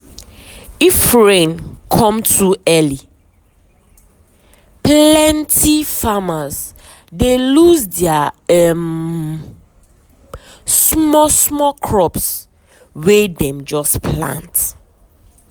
if rain come too um early plenty farmers dey lose their um small small crops wey dem just plant.